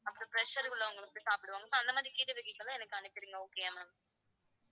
அப்புறம் pressure உள்ளவங்க வந்து சாப்பிடுவாங்கல்ல so அந்த மாதிரி கீரை வகைகளும் எனக்கு அனுப்பிருங்க okay யா ma'am